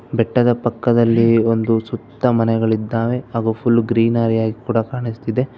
ಬೆಟ್ಟದ ಪಕ್ಕದಲ್ಲಿ ಒಂದು ಸುತ್ತ ಮನೆಗಳಿದ್ದಾವೆ ಹಾಗು ಫುಲ್ ಗ್ರೀನ ರೀ ಹಾಗೆ ಕೂಡ ಕಾಣಸ್ತಿದೆ.